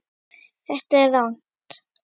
Þetta er rangt.